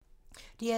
DR2